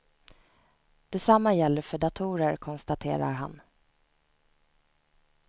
Detsamma gäller för datorer, konstaterar han.